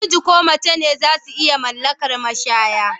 Namiji ko mace zasu iya mallakar mashaya